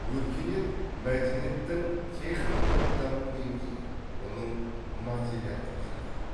өркениет мәдениеттің техникалық даму деңгейі оның материалдық жағы